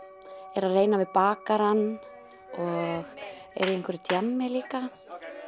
er að reyna við bakarann og er í einhverju djammi líka